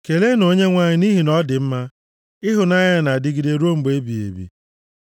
Keleenụ Onyenwe anyị, nʼihi na ọ dị mma. Ịhụnanya ya na-adịgide ruo mgbe ebighị ebi.